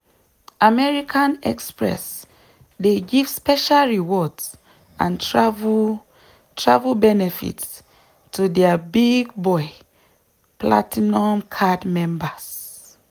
american express dey give special rewards and travel travel benefits to dia big-boy platinum card members.